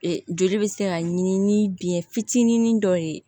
Joli bɛ se ka ɲini ni biyɛn fitinin dɔ ye